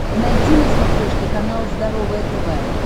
найти на смотрешке канал здоровое тв